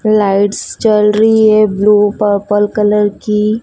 Lights जल रही है ब्लू पर्पल कलर की।